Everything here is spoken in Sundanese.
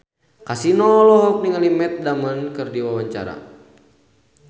Kasino olohok ningali Matt Damon keur diwawancara